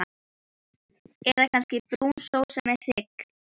Eða kannski brún sósa með hrygg?